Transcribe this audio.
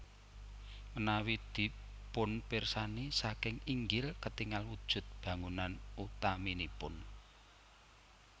Menawi dipunpirsani saking inggil ketingal wujud bangunan utaminipun